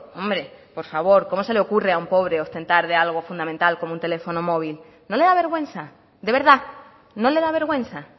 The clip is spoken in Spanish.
hombre por favor cómo se le ocurre a un pobre ostentar de algo fundamental como un teléfono móvil no le da vergüenza de verdad no le da vergüenza